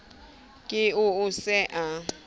ke eo o se a